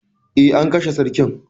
Eh, an kashe sarkin.